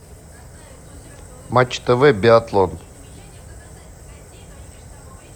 матч тв биатлон